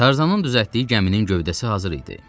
Tarzanın düzəltdiyi gəminin gövdəsi hazır idi.